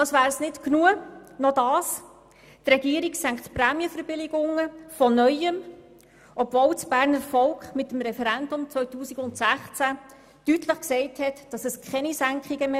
Als wäre das nicht genug, senkt die Regierung die Prämienverbilligungen von Neuem, obwohl das Berner Stimmvolk mit dem Referendum im Jahr 2016 deutlich gesagt hat, es wolle keine Senkungen mehr.